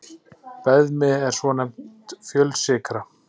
Beðmi er svonefnd fjölsykra.